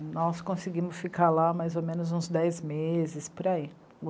Nós conseguimos ficar lá mais ou menos uns dez meses, por aí.